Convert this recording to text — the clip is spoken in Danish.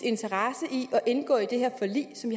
så indgå i det her forlig som